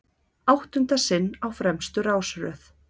Áttunda sinn á fremstu rásröð